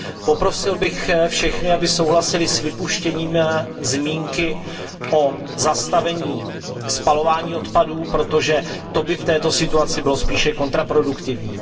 Poprosil bych všechny, aby souhlasili s vypuštěním zmínky o zastavení spalování odpadů, protože to by v této situaci bylo spíše kontraproduktivní.